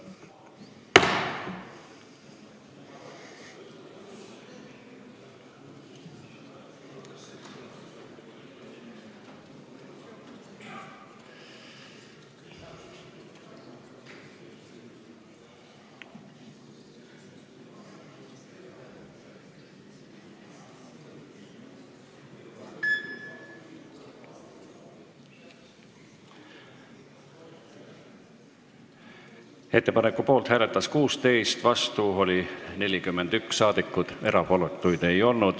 Hääletustulemused Ettepaneku poolt hääletas 16 ja vastu oli 41 saadikut, erapooletuid ei olnud.